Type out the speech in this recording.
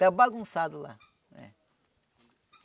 Está bagunçado lá. É.